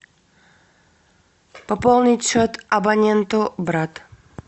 пополнить счет абоненту брат